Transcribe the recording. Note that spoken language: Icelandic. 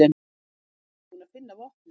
Lögreglan er búin að finna vopnið